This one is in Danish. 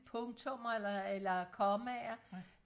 punktummer eller eller kommaer